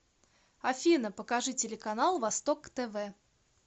афина покажи телеканал восток тв